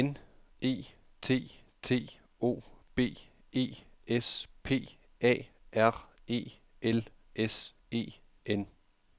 N E T T O B E S P A R E L S E N